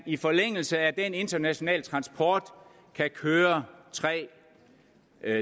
i forlængelse af den internationale transport kan køre tre